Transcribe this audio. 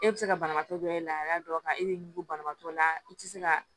E bɛ se ka banabaatɔ dɔ e la dɔ ka e de ɲugu banabaatɔ la i tɛ se ka